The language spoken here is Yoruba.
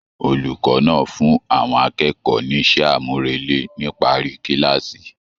Olùkọ náà fún àwọn akẹ́kọ̀ọ́ n'isẹ amurele nipari kilaasi.